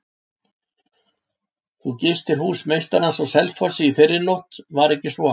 Þú gistir hús meistarans á Selfossi í fyrrinótt, var ekki svo?